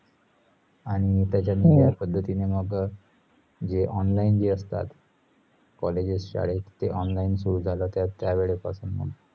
आणी त्याच्या जा पद्धतींनी मग अह जे online जे असतात colleges, शाळा online सुरू झाले त्या वेळे पासुन मग